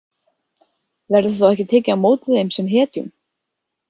Verður þá ekki tekið á móti þeim sem hetjum?